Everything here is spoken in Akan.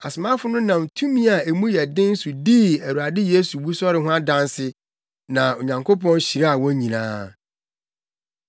Asomafo no nam tumi a emu yɛ den so dii Awurade Yesu wusɔre no ho adanse na Onyankopɔn hyiraa wɔn nyinaa.